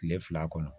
Kile fila kɔnɔ